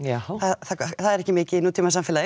það er ekki mikið í nútíma samfélagi